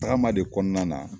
Tagama de kɔnɔna na